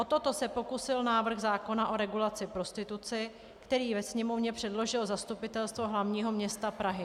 O toto se pokusil návrh zákona o regulaci prostituce, který ve Sněmovně předložilo Zastupitelstvo hlavního města Prahy.